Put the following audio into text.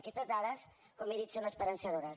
aquestes dades com he dit són esperançadores